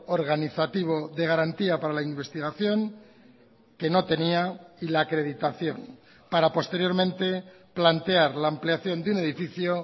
organizativo de garantía para la investigación que no tenía y la acreditación para posteriormente plantear la ampliación de un edificio